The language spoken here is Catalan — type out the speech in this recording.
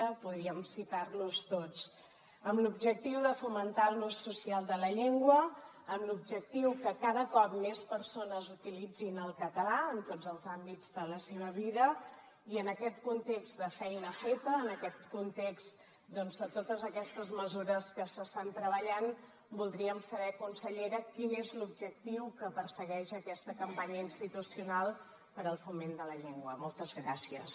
podríem citar los tots amb l’objectiu de fomentar l’ús social de la llengua amb l’objectiu que cada cop més persones utilitzin el català en tots els àmbits de la seva vida i en aquest context de feina feta en aquest context de totes aquestes mesures que s’estan treballant voldríem saber consellera quin és l’objectiu que persegueix aquesta campanya institucional per al foment de la llengua moltes gràcies